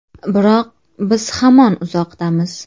Biroq biz hamon uzoqdamiz.